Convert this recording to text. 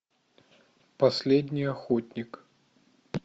последний охотник